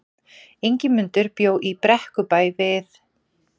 Ingimundur bjó í Brekkubæ við